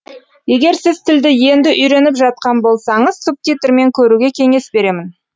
егер сіз тілді енді үйреніп жатқан болсаңыз субтитрмен көруге кеңес беремін